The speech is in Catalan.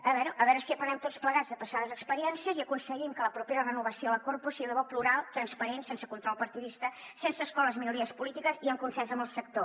a veure a veure si aprenem tots plegats de passades experiències i aconseguim que la propera renovació de la corpo sigui de debò plural transparent sense control partidista sense excloure les minories polítiques i en consens amb el sector